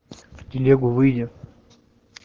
в телегу выйди